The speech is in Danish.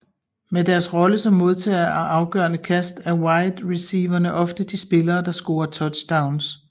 Med deres rolle som modtager af afgørende kast er wide receiverne ofte de spillere der scorer touchdowns